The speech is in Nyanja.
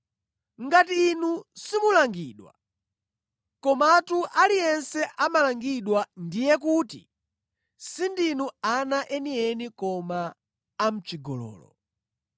Ngati inu simulangidwa, komatu aliyense amalangidwa, ndiye kuti sindinu ana enieni koma amʼchigololo.